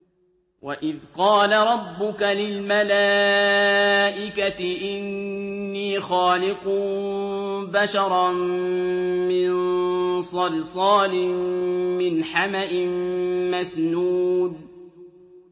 وَإِذْ قَالَ رَبُّكَ لِلْمَلَائِكَةِ إِنِّي خَالِقٌ بَشَرًا مِّن صَلْصَالٍ مِّنْ حَمَإٍ مَّسْنُونٍ